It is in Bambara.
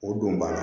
O don banna